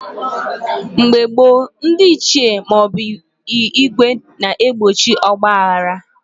Mgbe gboo, ndị Ichie maọbụ ìgwè na egbochi ọgba aghara